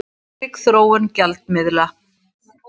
Ólík þróun gjaldmiðla